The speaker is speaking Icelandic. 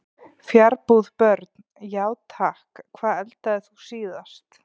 Fjarbúð Börn: Já takk Hvað eldaðir þú síðast?